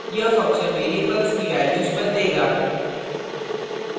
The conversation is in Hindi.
यह function variables की values बदलेगा